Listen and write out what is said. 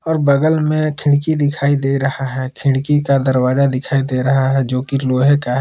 और बगल में खिड़की दिखाई दे रहा है खिड़की का दरवाजा दिखाई दे रहा है जो कि लोहे का है।